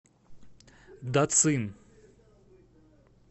дацин